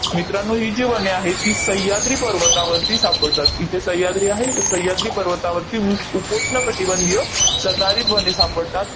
मित्रांनो, ही जी वने आहेत, ती सह्याद्री पर्वतावरती सापडतात. इथे सह्याद्री आहे. तर सह्याद्री पर्वतावरती उ उपोष्ण कटिबंधीय सदाहरित वने सापडतात.